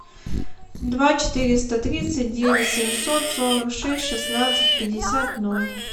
два четыреста тридцать девять семьсот сорок шесть шестнадцать пятьдесят ноль